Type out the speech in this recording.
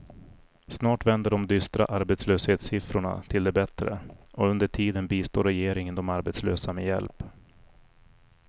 Snart vänder de dystra arbetslöshetssiffrorna till det bättre, och under tiden bistår regeringen de arbetslösa med hjälp.